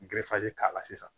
N k'a la sisan